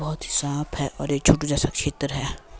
बहोत ही साफ है और एक छोटा जैसा क्षेत्र है।